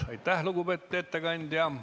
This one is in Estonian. Aitäh, lugupeetud ettekandja!